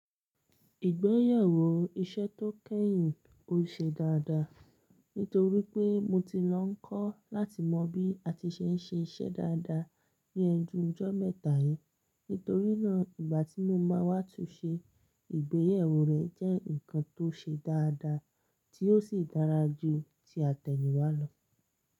Ìgbéyàwó iṣẹ́ tó kẹ́yìn ó ṣe dáadáa, nítorí pé mo ti lọ ń kọ́ láti mọ bí a ti ṣe ń ṣe iṣẹ́ dáadáa ní ẹnu jọ́ mẹ́ta yìí. Nítorí náà, ìgbà tí mo máa wá tún ṣe ìgbéyàwó rẹ̀ jẹ́ nǹkan tó ṣe dáadáa tí ó sì dára ju ti àtẹ̀yìnwá lọ.